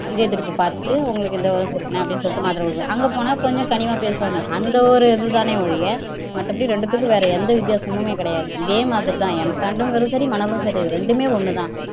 இதயத்துடிப்பு பாத்துட்டு உங்களுக்கு இந்த ஒரு பிரச்சினை அப்படின்னு சொல்லிட்டு மாத்திரை குடுப்பார் அங்க போனா கொஞ்சம் கனிவா பேசுவாங்க அந்த ஒரு இதுதானே ஒழிய மத்தபடி ரெண்டுக்கும் வேற எந்த வித்தியாசமும் கிடையாது இதே மாதிரிதான் m sand ங்றதும் சரி மணலும் சரி ரெண்டுமே ஒண்ணுதான்